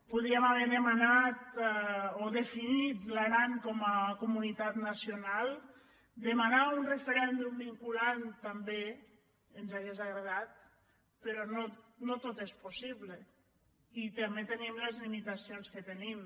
podíem haver demanat o definit l’aran com a comu·nitat nacional demanar un referèndum vinculant també ens hauria agradat però no tot és possible i tam·bé tenim les limitacions que tenim